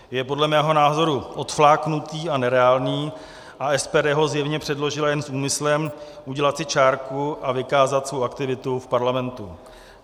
Je podle mého názoru odfláknutý a nereálný a SPD ho zjevně předložila jen s úmyslem udělat si čárku a vykázat svou aktivitu v parlamentu.